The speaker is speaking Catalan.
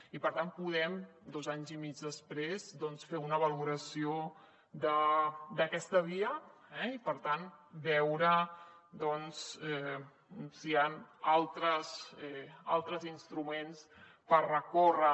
i per tant podem dos anys i mig després fer una valoració d’aquesta via i per tant veure si hi han altres instruments per recórrer